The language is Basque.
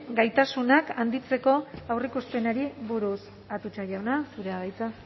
gaitasunak handitzeko aurreikuspenari buruz atutxa jauna zurea da hitza